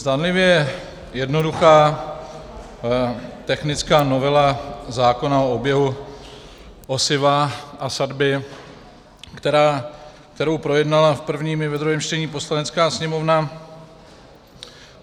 Zdánlivě jednoduchá technická novela zákona o oběhu osiva a sadby, kterou projednala v prvním i ve druhém čtení Poslanecká sněmovna.